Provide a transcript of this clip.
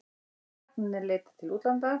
Læknarnir leita til útlanda